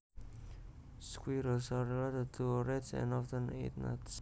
Squirrels are related to rats and often eat nuts